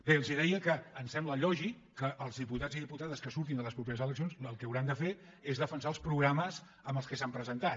bé els deia que em sembla lògic que els diputats i diputades que surtin a les properes eleccions el que hauran de fer és defensar els programes amb què s’han presentat